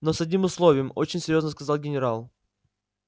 но с одним условием очень серьёзно сказал генерал